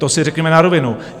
To si řekněme na rovinu.